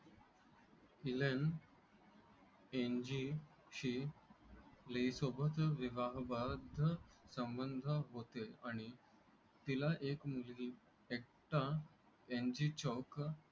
इलनएनजीशी लीसोबत विवाहबाह्य संबंध होते आणि तिला एक मुलगी